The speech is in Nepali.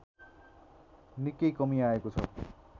निकै कमी आएको छ